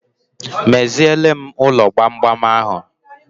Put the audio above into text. Meziele m ụlọ gbamgbam ahụ